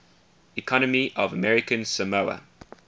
economy of american samoa